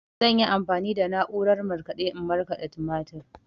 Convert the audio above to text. Zan yi amfani da na'urar markaɗe in markaɗa tumatir.